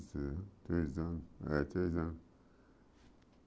Eu tinha três anos. É três anos